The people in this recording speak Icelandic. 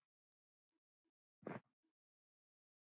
Hvernig hefði þá honum liðið?